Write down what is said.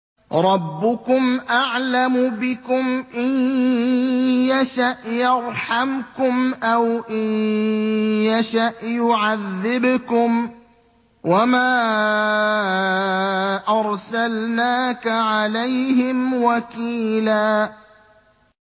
رَّبُّكُمْ أَعْلَمُ بِكُمْ ۖ إِن يَشَأْ يَرْحَمْكُمْ أَوْ إِن يَشَأْ يُعَذِّبْكُمْ ۚ وَمَا أَرْسَلْنَاكَ عَلَيْهِمْ وَكِيلًا